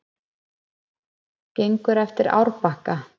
Gengur eftir árbakka.